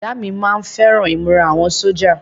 Bọ̀dá mi má ń fẹ́ràn ìmúra àwọn sójà